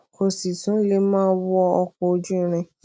kó sì tún lè máa wọ ọkò ojú irin